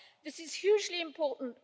5. This is hugely important.